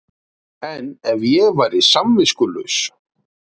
En ef ég væri samviskulaus?